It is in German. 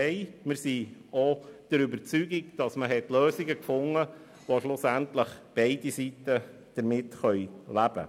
Wir sind der Überzeugung, dass man Lösungen gefunden hat, mit denen letztlich beide Seiten leben können.